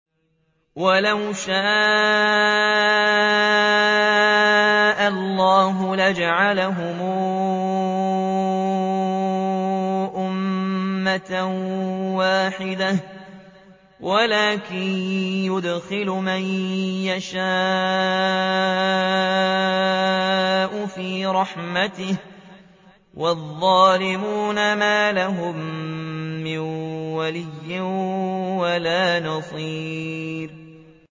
وَلَوْ شَاءَ اللَّهُ لَجَعَلَهُمْ أُمَّةً وَاحِدَةً وَلَٰكِن يُدْخِلُ مَن يَشَاءُ فِي رَحْمَتِهِ ۚ وَالظَّالِمُونَ مَا لَهُم مِّن وَلِيٍّ وَلَا نَصِيرٍ